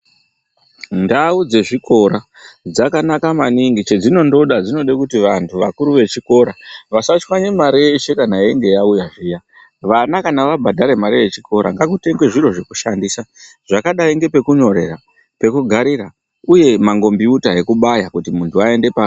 Ndau dzezvikora dzakanaka maningi chedzinondoda dzinode kuti vantu vakuru vechikora vasatyanye mare yeshe kana yeinga yauya zviya. Vana kana vabhadhara mare yechikora ngakutengwe zviro zvekushandisa zvakadai ngepekunyorera, pekugarira, uye mangombiyuta ekubaya kuti muntu ngaende pa.